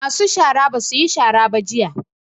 Masu shara ba su yi shara ba jiya